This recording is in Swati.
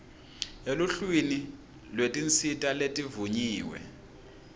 eluhlwini lwetinsita letivunyiwe